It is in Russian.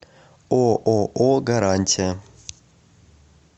ооо гарантия